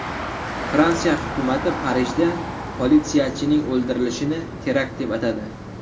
Fransiya hukumati Parijda politsiyachining o‘ldirilishini terakt deb atadi.